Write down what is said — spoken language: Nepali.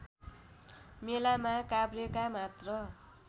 मेलामा काभ्रेका मात्र